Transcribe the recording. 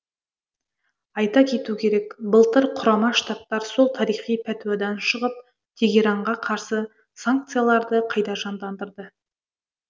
айта кету керек былтыр құрама штаттар сол тарихи пәтуадан шығып тегеранға қарсы санкцияларды қайта жандандырды